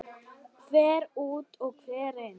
Hver út og hver inn?